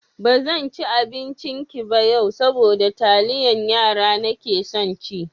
Ba zan ci abincinki ba yau, saboda taliyar yara (Indomie) nake son ci.